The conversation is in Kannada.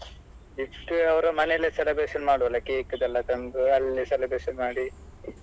Gift ಅವರ ಮನೆಯಲ್ಲೇ celebration ಮಾಡುವಲ cake ಎಲ್ಲ ತಂದು ಅಲ್ಲೇ celebration ಮಾಡಿ.